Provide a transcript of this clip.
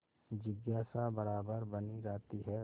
जिज्ञासा बराबर बनी रहती है